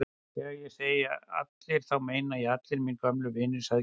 Þegar ég segi allir þá meina ég allir mínir gömlu vinir sagði Gerður.